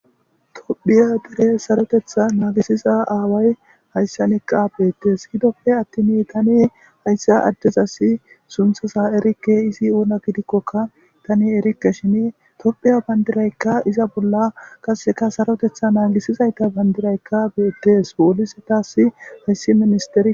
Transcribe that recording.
tophiya dere sarotetha naagisiza aaway hayssa neqqa beettes hidoppe attin tani hayssa addez assi sunthasa erikke izi oona gidikkokka tani erikke shini tophiya bandiraykka iza bolla kasseka sarotetha naagisizayta bandiraykka beettees woolisi taasi hayssi minister